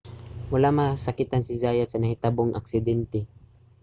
wala masakitan si zayat sa nahitabong aksidente